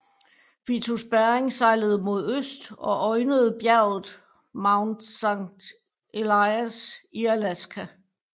Vitus Bering sejlede mod øst og øjnede bjerget Mount Saint Elias i Alaska